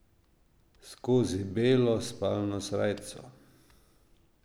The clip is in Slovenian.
Skozi belo spalno srajco.